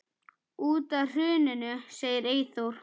Út af hruninu segir Eyþór.